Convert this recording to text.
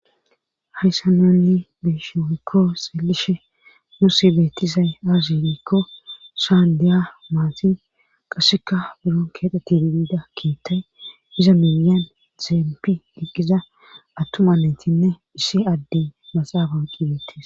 hayssa noli beeshooykko seelishe nuosi beetisay aazirikko shaandeya maatin qasseka buron keexeti bida kiittay iza milyan dzeempi iqqiza attuma netinne issi addey maxaafan qibeettis